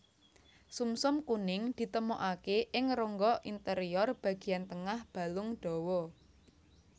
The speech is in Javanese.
Sumsum kuning ditemokaké ing rongga interior bagéyan tengah balung dawa